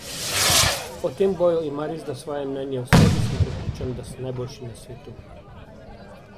O tem boju ima resda svoje mnenje: "V sebi sem prepričan, da sem najboljši na svetu.